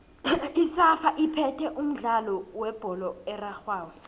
isafa iphethe umdlalo webholo erarhwako